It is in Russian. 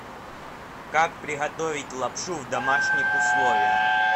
как приготовить лапшу в домашних условиях